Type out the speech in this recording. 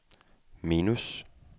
minus